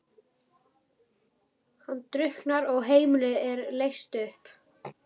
Hann drukknar og heimilið er leyst upp.